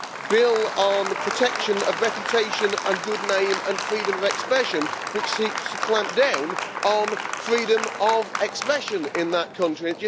the bill on the protection of reputation and good name and freedom of expression, which seeks to clamp down on freedom of expression in that country.